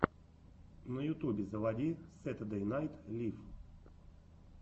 на ютубе заводи сэтердэй найт лив